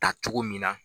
Ta cogo min na